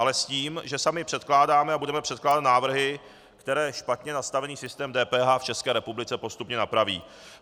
Ale s tím, že sami předkládáme a budeme předkládat návrhy, které špatně nastavený systém DPH v České republice postupně napraví.